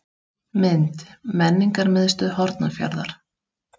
Mynd: Menningarmiðstöð Hornafjarðar.